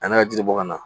A n'a ka jiri bɔ ka na